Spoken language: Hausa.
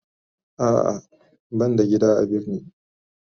A'a ban da gida a birni.